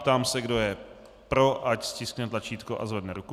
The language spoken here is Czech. Ptám se, kdo je pro, ať stiskne tlačítko a zvedne ruku.